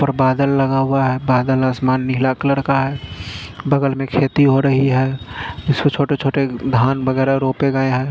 उपर बादल लगा हुआ है बादल आसमान नीला कलर का है बगल में खेत हो रही है जिसमे छोटे छोटे धान वगेरा रोप गये है।